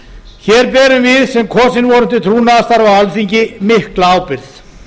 hér berum við sem kosin vorum til trúnaðarstarfa á alþingi mikla ábyrgð